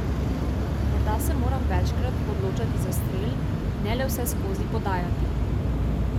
Morda se moram večkrat odločati za strel, ne le vseskozi podajati.